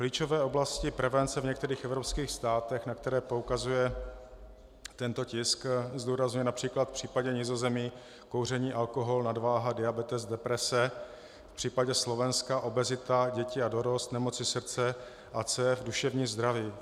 Klíčové oblasti prevence v některých evropských státech, na které poukazuje tento tisk - zdůrazňuje například v případě Nizozemí kouření, alkohol, nadváha, diabetes, deprese, v případě Slovenska obezita, děti a dorost, nemoci srdce a cév, duševní zdraví.